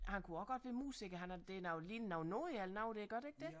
Han kunne også godt være musiker han har det er ligner nogle noder eller noget der gør det ikke det